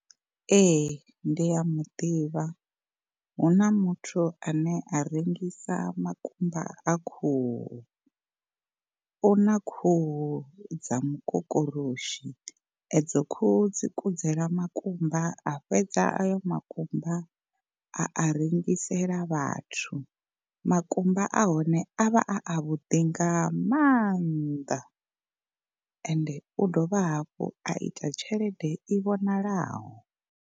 Ee ndi a muḓivha, huna muthu ane a rengisa makumba a khuhu, una khuhu dza mukokoroshi edzo khuhu dzi kudzela makumba a fhedza ayo makumba a a rengisela vhathu, makumba a hone a vha a avhuḓi nga mannḓa ende u dovha hafhu a ita tshelede i vhonalaho.